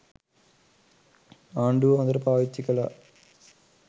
ආණ්ඩුව හොඳට පාවිච්චි කළා.